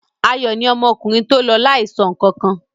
Ayọ̀ ni ọmọkùnrin tó lọ láìsọ nǹkan kan.